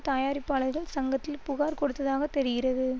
தயாரிப்பாளர்கள் சங்கத்தில் புகார் கொடுத்ததாக தெரிகிறது